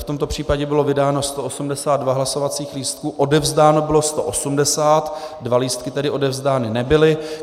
V tomto případě bylo vydáno 182 hlasovacích lístků, odevzdáno bylo 180, dva lístky tedy odevzdány nebyly.